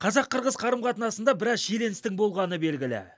қазақ қырғыз қарым қатынасында біраз шиеленістің болғаны белгілі